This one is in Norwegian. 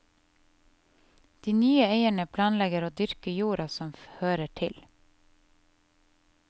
De nye eierne planlegger også å dyrke jorden som hører til.